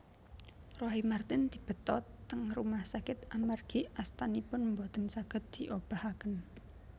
Roy Marten dibeta teng rumah sakit amargi astanipun mboten saget diobahaken